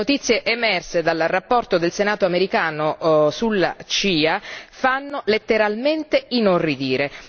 Le notizie emerse dal rapporto del Senato americano sulla CIA fanno letteralmente inorridire.